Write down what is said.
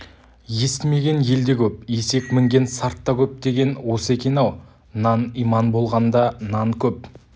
естімеген елде көп есек мінген сарт та көп деген осы екен-ау нан иман болғанда нан көп